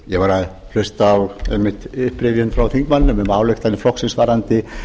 ég var að hlusta á einmitt upprifjun frá þingmanninum um ályktanir flokksins varðandi